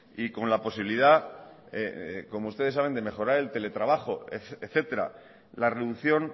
y con la posibilidad como ustedes saben de mejorar el teletrabajo etcétera la reducción